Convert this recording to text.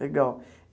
Legal.